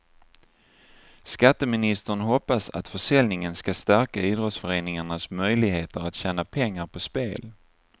Skatteministern hoppas att försäljningen ska stärka idrottsföreningarnas möjligheter att tjäna pengar på spel.